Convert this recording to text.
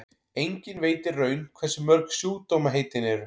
enginn veit í raun hversu mörg sjúkdómaheitin eru